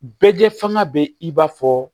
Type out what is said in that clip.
Bɛɛ fanga bɛ i b'a fɔ